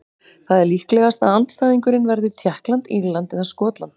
Það er líklegast að andstæðingurinn verði Tékkland, Írland eða Skotland.